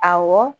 Awɔ